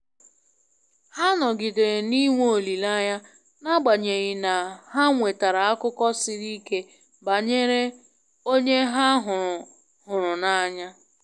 Ha nọgidere na i nwe olileanya n'agbanyeghị na ha nwetara akụkọ siri ike banyere onye ha hụrụ hụrụ n'anya.